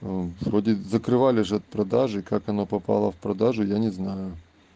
вроде закрывали же продаже как она попала в продажу я не знаю